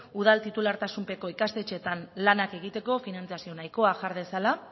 udal titulartasunpeko ikastetxetan lanak egiteko finantzazio nahikoa jar dezala